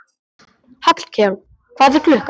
Hallkell, hvað er klukkan?